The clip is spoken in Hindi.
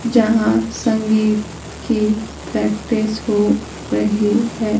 जहां संगीत की प्रैक्टिस हो रही है।